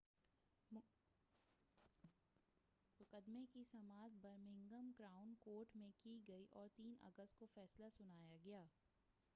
مقدمے کی سماعت برمنگھم کراؤن کورٹ میں کی گئی اور 3 اگست کو فیصلہ سنایا گیا